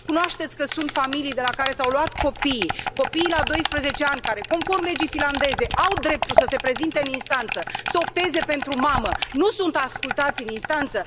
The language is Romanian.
Cunoașteți că sunt familii de la care s au luat copiii, copii la 12 ani care, conform legii finlandeze au dreptul să se prezinte în instanță, să opteze pentru mamă și nu sunt ascultați în instanță?